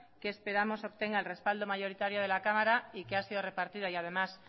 que esperamos obtenga el respaldo mayoritario de la cámara y que ha sido repartido y además